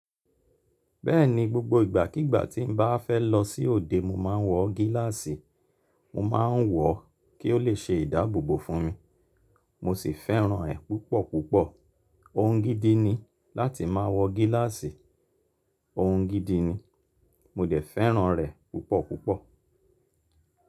Bẹ́ẹ̀ni, gbogbo ìgbàkígbà tí n bá fẹ́ lọ sí òde, mo máa ń wọ gíláàsì. Mo máa ń wọọ kí ó lè ṣe ìdáàbòbò fún mi. Mo sì fẹ́ràn rẹ̀ púpọ̀ púpọ̀. Ohun gidi ni láti máa wọ gíláàsì, ohun gidi ni. Mo dẹ̀ fẹ́ràn rẹ̀ púpọ̀ púpọ̀.